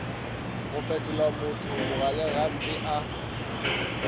go fetolamotho mogaleng gampe a